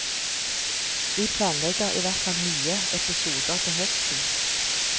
Vi planlegger i hvert fall nye episoder til høsten.